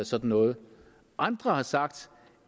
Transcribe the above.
sådan noget andre har sagt